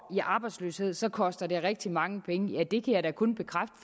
i arbejdsløshed så koster det rigtig mange penge ja det kan jeg da kun bekræfte